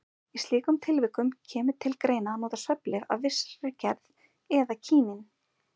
Í slíkum tilvikum kemur til greina að nota svefnlyf af vissri gerð eða kínín.